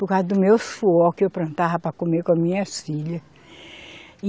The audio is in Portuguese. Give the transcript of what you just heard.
Por causa do meu suor que eu plantava para comer com as minhas filhas.